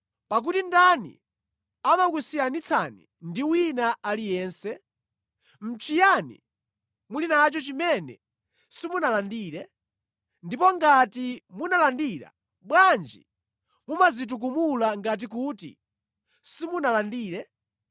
Pakuti ndani amakusiyanitsani ndi wina aliyense? Nʼchiyani muli nacho chimene simunalandire? Ndipo ngati munalandira, bwanji mumadzitukumula ngati kuti simunalandire?